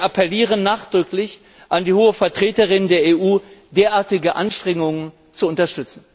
Wir appellieren nachdrücklich an die Hohe Vertreterin der EU, derartige Anstrengungen zu unterstützen.